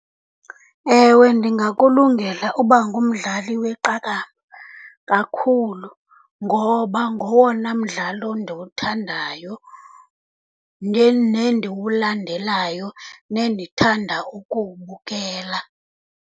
Ewe, ndingakulungela uba ngumdlali weqakamba kakhulu, ngoba ngowona mdlalo ndiwuthandayo nendiwulandelayo, nendithanda ukuwubukela.